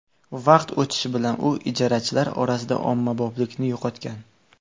Vaqt o‘tishi bilan u ijarachilar orasida ommaboplikni yo‘qotgan.